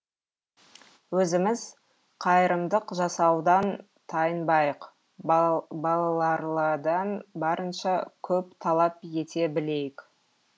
өзіміз қайырымдық жасаудан тайынбайық балалардан барынша көп талап ете білейік